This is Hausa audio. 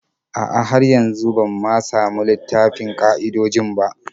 A'a, har yanzu ban ma samu littafin ƙa'idojin ba.